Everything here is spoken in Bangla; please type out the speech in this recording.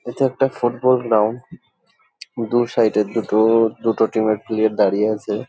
এটা একটা ফুটবল গ্রাউন্ড । দু সাইড -এ দুটো দুটো টিম -এর প্লেয়ার দাঁড়িয়ে আছে ।